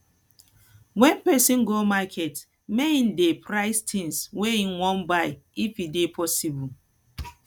when person go market make im dey price things wey im wan buy if e dey possible